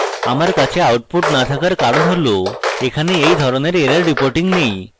আমার কাছে output the থাকার কারণ হল এখানে এই ধরণের error reporting নেই